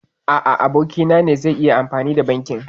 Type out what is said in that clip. A a, abokin na ne zai yi amfani da banɗakin.